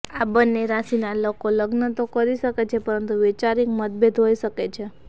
આ બંને રાશિના લોકો લગ્ન તો કરી શકે છે પરંતુ વૈચારિક મતભેદ હોઈ શકે છે